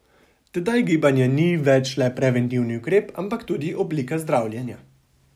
Tedaj gibanje ni več le preventivni ukrep, ampak tudi oblika zdravljenja.